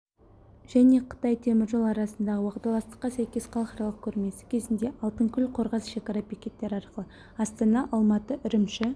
және қытай темір жолы арасындағы уағдаластыққа сәйкес халықаралық көрмесі кезінде алтынкөл қорғас шекара бекеттері арқылы астана-алматы-үрімші